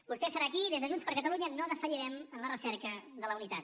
vostè serà aquí i des de junts per catalunya no defallirem en la recerca de la unitat